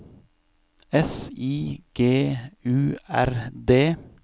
S I G U R D